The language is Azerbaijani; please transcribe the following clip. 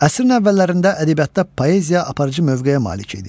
Əsrin əvvəllərində ədəbiyyatda poeziya aparıcı mövqeyə malik idi.